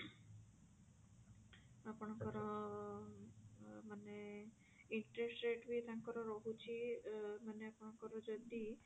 ଆପଣଙ୍କର ମାନେ interest rate ବି ତାଙ୍କର ରହୁଛି ମାନେ ଆପଣଙ୍କର ଯଦି